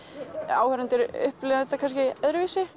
áhorfendur upplifa þetta kannski öðruvísi